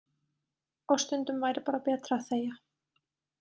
Og stundum væri bara betra að þegja.